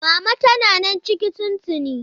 Mama tana nan ciki tun tuni.